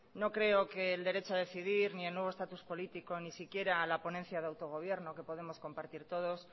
no creo que el derecho a decidir ni el nuevo estatus político ni siquiera la ponencia de autogobierno que podemos compartir todos